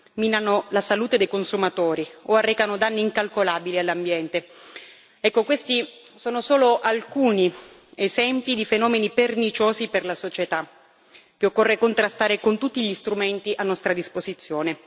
minano la salute dei consumatori o arrecano danni incalcolabili all'ambiente ecco, questi sono solo alcuni esempi di fenomeni perniciosi per la società, che occorre contrastare con tutti gli strumenti a nostra disposizione.